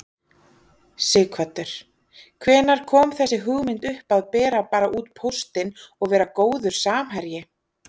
Sighvatur: Hvenær kom þessi hugmynd upp að bera bara út póstinn og vera góður samherji?